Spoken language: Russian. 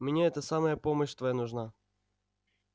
мне это самое помощь твоя нужна